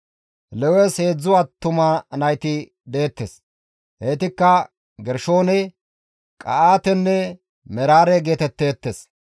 Lewes heedzdzu attuma nayti deettes; heytikka Gershoone, Qa7aatenne Meraare geetetteettes.